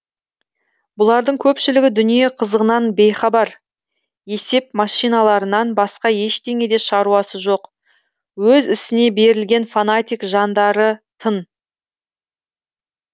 бұлардың көпшілігі дүние қызығынан бейхабар есеп машиналарынан басқа ештеңеде шаруасы жоқ өз ісіне берілген фанатик жандарытын